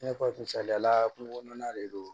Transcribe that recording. I n'a fɔ misaliyala kungokurumanan de don